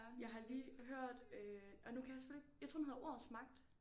Jeg har lige hørt øh og nu kan jeg selvfølgelig ikke jeg tror den hedder ordets magt